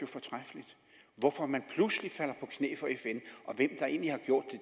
fortræffeligt hvorfor man pludselig falder på knæ for fn og hvem der egentlig har gjort